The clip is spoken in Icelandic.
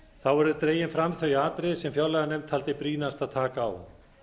þá eru dregin fram þau atriði sem fjárlaganefnd taldi brýnast að taka á